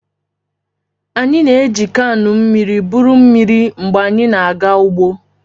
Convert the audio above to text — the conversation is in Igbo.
Anyị na-eji kaanụ mmiri buru mmiri mgbe anyị na-aga ugbo.